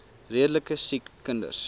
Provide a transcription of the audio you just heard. redelike siek kinders